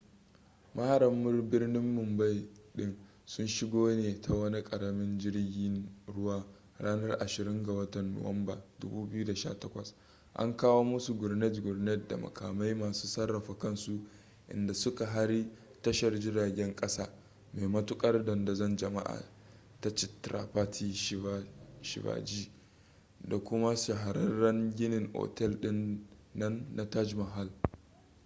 maharan birnin mumbai din sun shigo ne ta wani karamin jirgin ruwa ranar 26 ga watan nuwamban 2008 an kawo musu gurnet-gurnet da makamai masu sarrafa kansu inda suka hari tashar jiragen kasa mai matukar dandazon jama'a ta chhatrapati shivaji da kuma shahararren ginin otel din nan na taj mahal